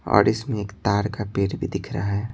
और इसमें एक ताड़ का पेड़ भी दिख रहा है।